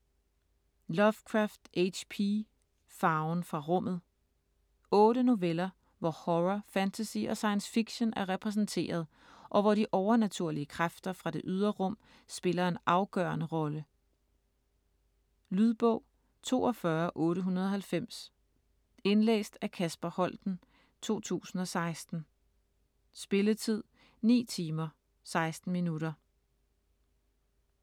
Lovecraft, H. P.: Farven fra rummet 8 noveller hvor horror, fantasy og science fiction er repræsenteret, og hvor de overnaturlige kræfter fra det ydre rum spiller en afgørende rolle. Lydbog 42890 Indlæst af Kasper Holten, 2016. Spilletid: 9 timer, 16 minutter.